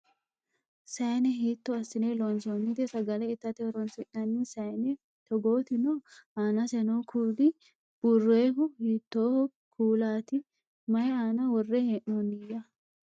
Sayiine hiitto assine loonsonnite? Sagale itate horonsi'nanni sayiine toggoti noo? Aanase noo kuuli buurroyihu hiitto kuulati? Mayii aana worre hee'nonniya?